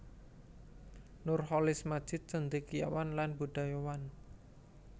Nurcholish Madjid cendekiawan lan budayawan